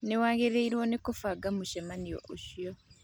Nĩ wagĩrĩirũo nĩ kũbanga mũcemanio ũcio!